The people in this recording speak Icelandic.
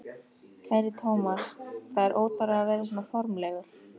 Kæri Thomas, það er óþarfi að vera svona formlegur.